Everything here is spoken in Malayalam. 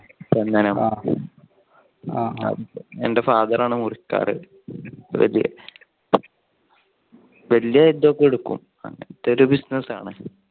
ആ എന്റെ father ആണ് മുറിക്കാറ്. വലിയ ഇതൊക്കെ എടുക്കും അങ്ങനത്തെ ഒരു business ആണ്.